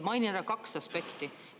Mainin ära kaks aspekti.